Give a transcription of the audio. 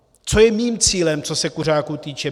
Co je mým cílem, co se kuřáků týče?